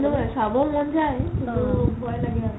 চাব মন যাই কিন্তু মই লাগে আৰু